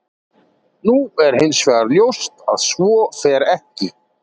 Nú er hins vegar ljóst að svo fer ekki.